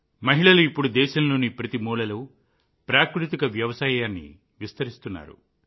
మహిళలు ఇప్పుడు దేశంలోని ప్రతి మూలలో ప్రాకృతిక వ్యవసాయాన్ని విస్తరిస్తున్నారు